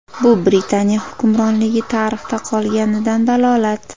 Bu Britaniya hukmronligi tarixda qolganidan dalolat.